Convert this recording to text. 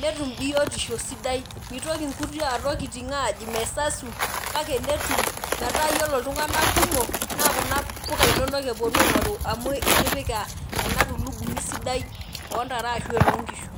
netum biotisho sidai mitoki nkuti tokitin mesasu kake netum metaa ore ltunganak kumok metaa kuna puka inonok eponu aingoruamu itipika enatulugumi sidai ondare ashu enoonkishu.